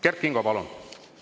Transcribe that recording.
Kert Kingo, palun!